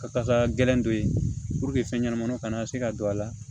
Ka taga gɛlɛn don ye fɛn ɲɛnamaw kana se ka don a la